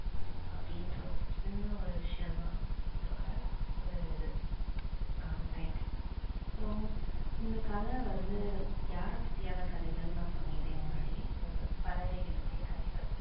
அப்படின்ற ஒரு சின்ன ஒரு விஷயம்தான் இதோட ஒரு இது எர் title so இந்த கதை வந்து யாரைப் பற்றியான கதைகள் நான் சொல்லிட்டேன் முன்னாடியே இது வந்து பறவைகளோட கதைகள்.